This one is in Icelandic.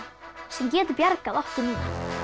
sem getur bjargað okkur núna